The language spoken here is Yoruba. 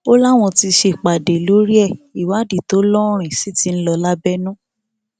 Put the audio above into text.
ó láwọn ti ṣèpàdé lórí ẹ ìwádìí tó lóòrìn sí ti ń lọ lábẹnú